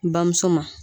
Bamuso ma